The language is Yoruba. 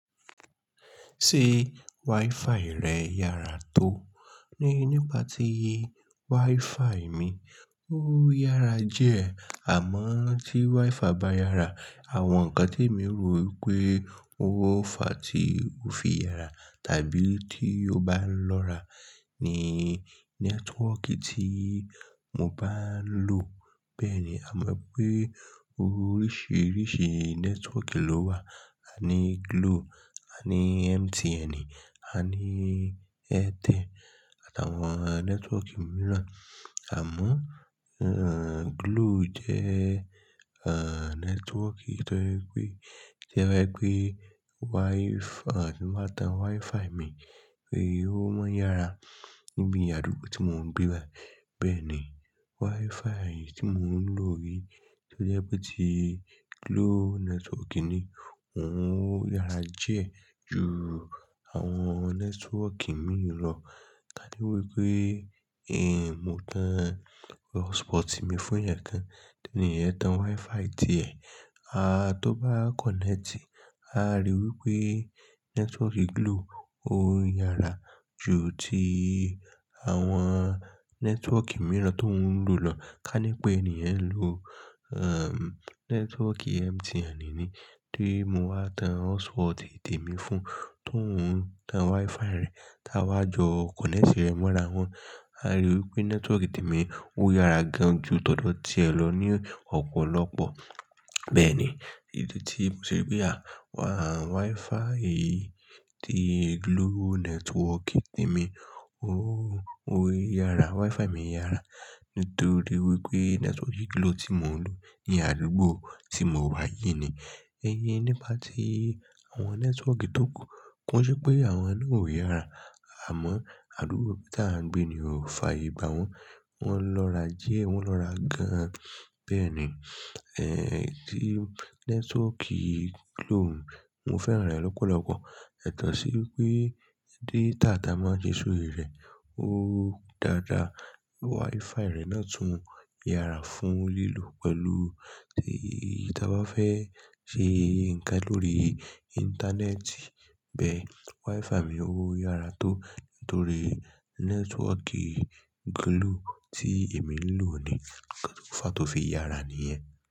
Ṣé Wi-Fi rẹ yára tó? Nípa ti Wi-Fi mi, ó yára diẹ. Àmọ́ tí Wi-Fi bá yára, àwọn ǹkan tí èmi rò wípé ó fà tí ó fi yára tàbí tí ó bá ń lọ́ra ní nẹ́tíwọ́kì tí mo bá ń lò. Bẹ́ẹ̀ ni, a mọ̀ pé oríṣiríṣi nẹ́tíwọ́kì ló wà. A ní Glo, a ní MTN, a ní Airtel àtàwọn nẹ́tíwọ́kì mìíràn. Àmọ́, Glo jẹ́ nẹ́tíwọ́kì tóje wipe, toje wipe Wi-Fi tí màá tan Wi-Fi mi pé ó máa ń yára níbi àdúgbò tí mò ń gbé bẹ́ẹ̀ ni, Wi-Fi tí mò ń lò yìí tí ó jẹ́ pé ti Glo nẹ́tíwọ́kì ni òun yára diẹ ju àwọn nẹ́tíwọ́kì mìíràn lọ. Ka ní wípé èmi mó tan hotspot mi fún èèyàn kan, tí èèyàn ń tan Wi-Fi ti ẹ̀, a tó bá kọ̀nẹ́tì, a rí wípé nẹ́tíwọ́kì Glo ó yára ju ti àwọn nẹ́tíwọ́kì mìíràn tó owun lò lọ. Ka ní pé ènìyàn ń lo nẹ́tíwọ́kì MTN ni tí mo wá tan hotspot temi fún, tówun tan Wi-Fi rẹ̀ tá a wá jọ kọ̀nẹ́tì rẹ mọ́ra wọn, a rí i wípé nẹ́tíwọ́kì tèmi ó yára gan jú tọ̀dọ̀ ti ẹ̀ lọ ni ọ̀pọ̀lọpọ̀. Bẹ́ẹ̀ ni, èyí tí mò ṣe pé àwa Wi-Fi yìí ti Glo nẹ́tíwọ́kì tèmi ó yára, Wi-Fi mi yára nítorí wípé nẹ́tíwọ́kì Glo tí mò ń lò ní àdúgbò tí mò wà yìí ni. Ẹ̀yin nípa tí àwọn nẹ́tíwọ́kì tókù, ko ṣé pé àwọn náà ò yára, àmọ́ àdúgbò tí à ń gbé ni ó fààyè gbá wọn, wọ́n lọ́ra die, wọn lọ́ra gan. Bẹ́ẹ̀ ni, èyí tí nẹ́tíwọ́kì Glo mo fẹ́ràn rẹ̀ lọ́pọ̀lọpọ̀, yato sí wípé data máa ń jẹ sórí rẹ̀ ó dáadáa. Wi-Fi rẹ̀ náà tún yára fún lílò pẹ̀lú tí ti a bá fẹ́ ṣe ǹkan lórí íńtánẹ́ẹ̀tì. Bẹ́ẹ̀ Wi-Fi mi ó yára tó nítorí nẹ́tíwọ́kì Glo tí èmi ń lò ni, nkan tó fàá tó fi yára nìyẹn.